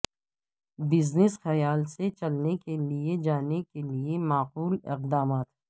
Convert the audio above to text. business خیال سے چلنے کے لے جانے کے لئے معقول اقدامات